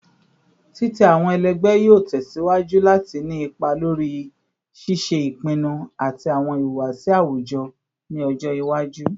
Titẹ awọn ẹlẹgbẹ yoo tẹsiwaju lati ni ipa lori ṣiṣe ipinnu ati awọn ihuwasi awujọ ni ọjọ iwaju